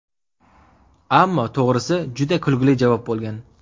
Ammo to‘g‘risi, juda kulgili javob bo‘lgan.